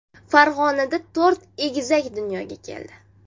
Farg‘onada to‘rt egizak dunyoga keldi.